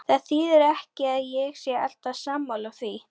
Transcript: Það þýðir ekki að ég sé alltaf sammála því.